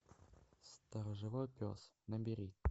сторожевой пес набери